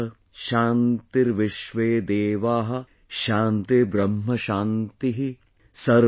Patayah ShantiVishwedDevah ShantiBrahma Shantih,